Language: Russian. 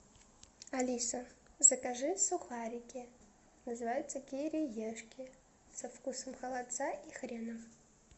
алиса закажи сухарики называются кириешки со вкусом холодца и хрена